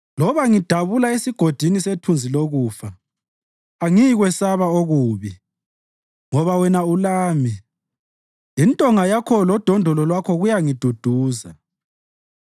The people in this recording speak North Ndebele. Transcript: Loba ngidabula esigodini sethunzi lokufa, angiyikwesaba okubi ngoba wena ulami; intonga Yakho lodondolo Lwakho kuyangiduduza.